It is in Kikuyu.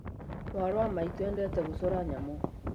Mwarĩ wa maitũ endete gũcora nyamu